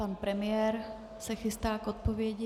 Pan premiér se chystá k odpovědi.